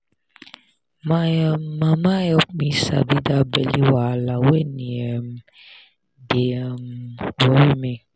my um mama help me sabi that belly wahala when e um dey um worry me